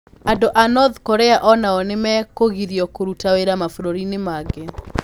Andũ a North Korea o nao nĩ mekũgirio kũruta wĩra mabũrũri-inĩ mangĩ.